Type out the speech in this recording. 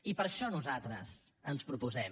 i per això nosaltres ens proposem